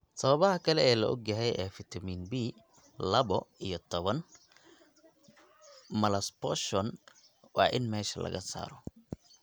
Sababaha kale ee la og yahay ee fiitamiin B laba iyo toban malabsorption waa in meesha laga saaro.